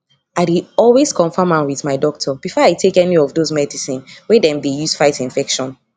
i dey always confirm am with my doctor before i take any of those medicine wey dem dey use fight infection